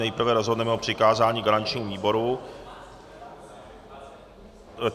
Nejprve rozhodneme o přikázání garančnímu výboru.